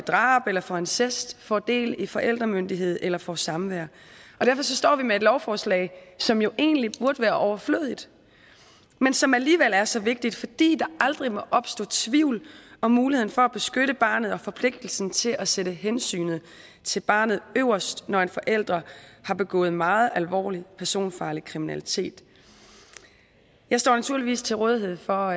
drab eller for incest får del i forældremyndigheden eller får samvær derfor står vi med et lovforslag som jo egentlig burde være overflødigt men som alligevel er så vigtigt fordi der aldrig må opstå tvivl om muligheden for at beskytte barnet og forpligtelsen til at sætte hensynet til barnet øverst når en forælder har begået meget alvorlig personfarlig kriminalitet jeg står naturligvis til rådighed for